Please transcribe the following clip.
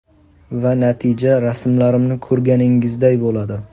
Va natija rasmlarimni ko‘rganingizday bo‘ladi.